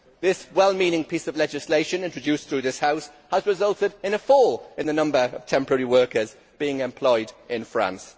This well meaning piece of legislation, introduced through this House, has resulted in a fall in the number of temporary workers being employed in France.